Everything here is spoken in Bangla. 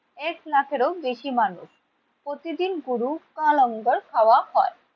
এক লাখের ও বেশি মানুষ প্রতিদিন গুরু বা লঙ্গর খাওয়া হয়।